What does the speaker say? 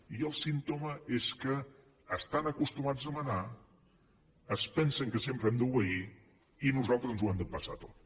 i el símptoma és que estan acostumats a manar es pensen que sempre hem d’obeir i nosaltres ens ho hem d’empassar tot